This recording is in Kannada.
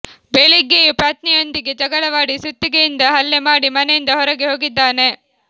ಬೆಳಿಗ್ಗೆಯೂ ಪತ್ನಿಯೊಂದಿಗೆ ಜಗಳವಾಡಿ ಸುತ್ತಿಗೆಯಿಂದ ಹಲ್ಲೆ ಮಾಡಿ ಮನೆಯಿಂದ ಹೊರಗೆ ಹೋಗಿದ್ದಾನೆ